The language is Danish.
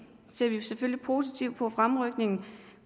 ser vi selvfølgelig positivt på fremrykningen